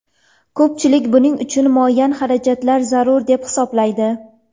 Ko‘pchilik buning uchun muayyan xarajatlar zarur deb hisoblaydi.